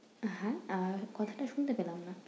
হ্যাঁ? আর কথাটা শুনতে পেলাম না।